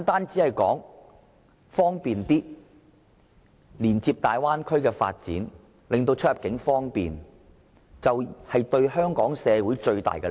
是否純粹連接大灣區的發展，令出入境更方便，為香港社會帶來最大利益？